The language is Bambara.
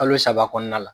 Kalo saba kɔnɔna la